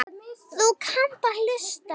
Þú kannt að hlusta.